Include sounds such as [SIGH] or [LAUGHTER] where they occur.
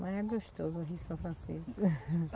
Mas é gostoso o Rio São Francisco. [LAUGHS]